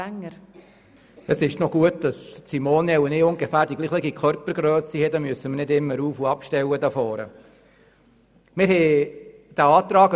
der SiK. Es ist gut, dass Simone und ich ungefähr dieselbe Körpergrösse haben, so müssen wir das Pult hier vorne nicht immer rauf- und runterstellen.